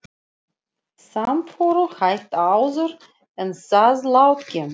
Samförum hætt áður en sáðlát kemur.